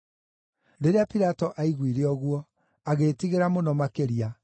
Rĩrĩa Pilato aiguire ũguo, agĩĩtigĩra mũno makĩria,